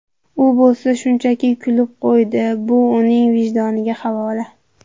U bo‘lsa shunchaki kulib qo‘ydi, bu uning vijdoniga havola.